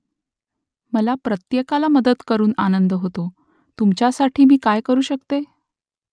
मला प्रत्येकाला मदत करून आनंद होतो . तुमच्यासाठी मी काय करू शकते ?